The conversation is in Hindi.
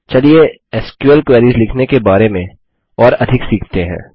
चलिए एसक्यूएल क्वेरीस लिखने के बारे में और अधिक सीखते हैं